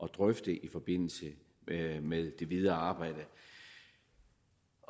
drøfte i forbindelse med det videre arbejde